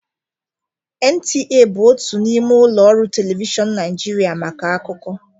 NTA bụ otu n'ime ụlọ ọrụ telivishọn Nigeria maka akụkọ